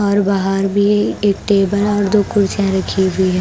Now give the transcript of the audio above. और बाहर भी एक टेबल और दो कुर्चियां रखी हुई है ।